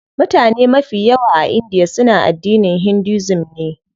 Mutane mafi yawa a india suna addinin Hinduism ne.